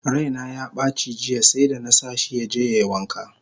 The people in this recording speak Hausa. Raina yabaci jiya seda! nasa shi yaje yai wanka!